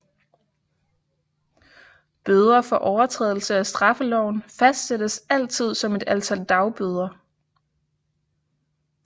Bøder for overtrædelse af straffeloven fastsættes altid som et antal dagbøder